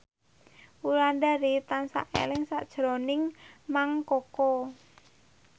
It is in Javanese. Wulandari tansah eling sakjroning Mang Koko